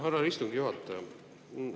Härra istungi juhataja!